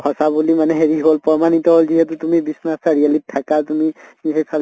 সঁচা বুলি মানে হেৰি হʼল প্ৰমানিত হʼল যিহেতু তুমি বিশ্বনাথ চাৰিআলিত থাকা তুমি